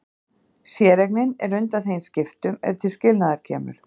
Séreignin er undanþegin skiptum ef til skilnaðar kemur.